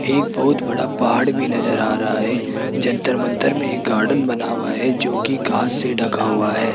एक बहुत बड़ा पहाड़ भी नजर आ रहा है जंतर मंतर में एक गार्डन बना हुआ है जो कि घास से ढका हुआ है।